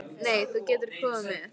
Nei, þú getur ekki komið með.